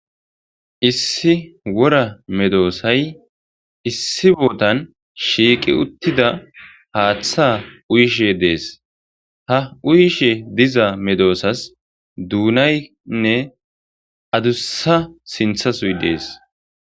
Issi wora medoosay issi bootan shiiqi uttida haaththa uyishe dees ha uyishe diza medoosas duunaynne adussa sinthasuy dees